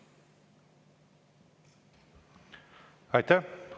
Aitäh!